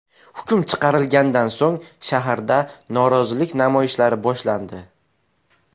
Hukm chiqarilganidan so‘ng, shaharda norozilik namoyishlari boshlandi.